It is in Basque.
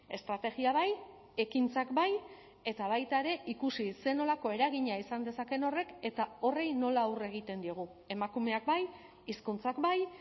estrategia bai ekintzak bai eta baita ere ikusi zer nolako eragina izan dezakeen horrek eta horri nola aurre egiten diogu emakumeak bai hizkuntzak bai